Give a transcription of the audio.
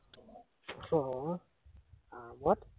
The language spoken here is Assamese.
আহ আৰামত